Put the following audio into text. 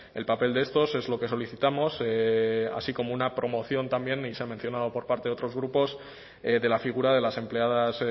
el papel de estos es lo que solicitamos así como una promoción también y se ha mencionado por parte de otros grupos de la figura de las empleadas